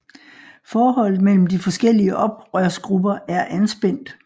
Forholdet mellem de forskellige oprørsgrupper er anspændt